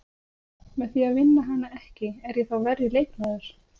Með því að vinna hana ekki, er ég þá verri leikmaður?